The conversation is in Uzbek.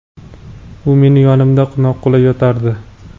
u meni yonimda noqulay yotardi.